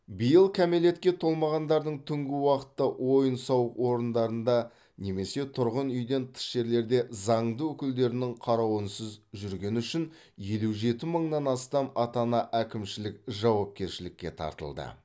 биыл кәмелетке толмағандардың түнгі уақытта ойын сауық орындарында немесе тұрғын үйден тыс жерлерде заңды өкілдерінің қарауынсыз жүргені үшін елу жеті мыңнан астам ата ана әкімшілік жауапкершілікке тартылды